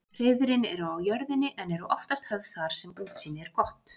Hreiðrin eru á jörðinni en eru oftast höfð þar sem útsýni er gott.